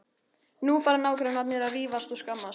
Nú fara nágrannarnir að rífast og skammast.